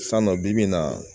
San nɔ bi in na